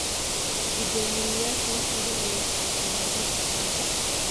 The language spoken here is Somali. Gudoomiyayaashu wax badan ayay ka qaateen horumarka shacabka.